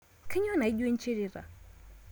Kainyoo naijo inchrita